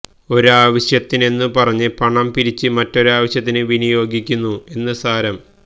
ഒരാവശ്യത്തിനെന്നു പറഞ്ഞ് പണം പിരിച്ച് മറ്റൊരാവശ്യത്തിനു വിനിയോഗിക്കുന്നു എന്നു സാരം